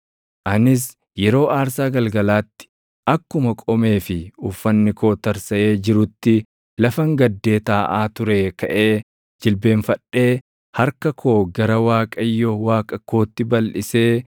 Anis yeroo aarsaa galgalaatti akkuma qomee fi uffanni koo tarsaʼee jirutti lafan gaddee taaʼaa turee kaʼee jilbeenfadhee harka koo gara Waaqayyo Waaqa kootti balʼisee